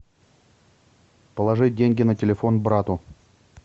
положить деньги на телефон брату